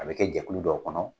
A bi kɛ jɛkulu dɔw kɔnɔ